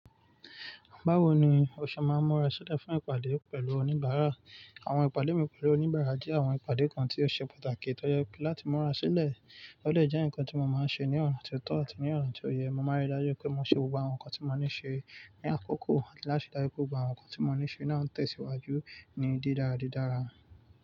Báwo ni o ṣe máa ń múra sílẹ̀ fún ìpàdé pẹ̀lú oníbàárà? Àwọn ìpàdé mi pẹ̀lú oníbàárà jẹ́ àwọn ìpàdé kan tí ó ṣe pàtàkì tó yẹ pé láti múra sílẹ̀. Ó lè jẹ́ nǹkan tí mo máa ń ṣe ní ọ̀na tio tọ́ àti ní ọ̀na tó yẹ. Mo máa rí i dájú pé mo ṣe gbogbo àwọn nǹkan tí mo ní ṣe ní àkókò àti láti ríi dájú pé gbogbo àwọn nǹkan tí mo ní ṣe náà ń tẹ̀síwájú ní dídárádídára.